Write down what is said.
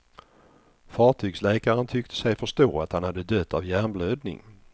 Fartygsläkaren tyckte sig förstå att han hade dött av hjärnblödning.